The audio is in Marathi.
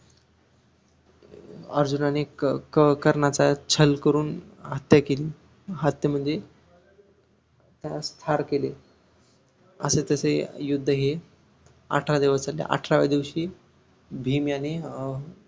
अर्जुनाने क कर्णाचा छल करून हत्या केली हत्या म्हणजे त्यास ठार केले असे तसे युद्ध हे ठरा दिवस अठराव्या दिवशी भीम याने अं